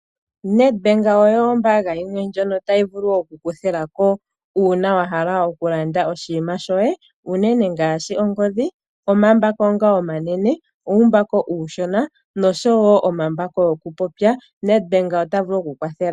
NedBank oyo ombaanga yimwe ndjono tayi vulu oku kuthilako uuna wa hala okulanda oshinima shoye unene ngaashi ongodhi, omambako ngoka omanene, uumbako uushona noshowo omambako go ku popya. NedBank ota vulu oku ku kwathela.